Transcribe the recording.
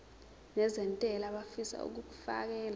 nezentela abafisa uukfakela